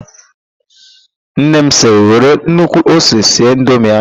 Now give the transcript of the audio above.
Nna m sịrị, " were nnukwu ose sie indomie ahụ"!